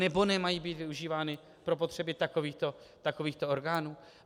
Anebo nemají být využívány pro potřeby takovýchto orgánů.